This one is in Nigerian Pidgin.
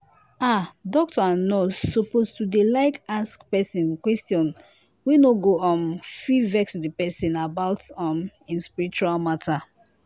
ah doctor and nurse suppose to dey like ask pesin question wey no go um fit vex di pesin about um em spiritual matter.